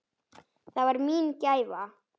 Það var mín gæfa.